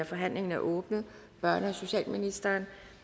forhandlingen er åbnet børne og socialministeren